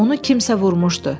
Onu kimsə vurmuşdu.